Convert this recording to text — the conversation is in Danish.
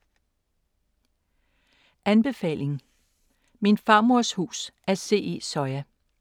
Anbefaling: Min farmors hus af C. E. Soya